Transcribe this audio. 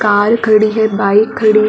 car खड़ी है bike खड़ी--